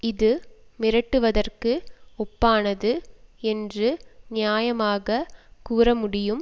இது மிரட்டுவதற்கு ஒப்பானது என்று நியாயமாகக் கூற முடியும்